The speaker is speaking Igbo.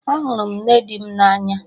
Ahụrụ m nne di m na anya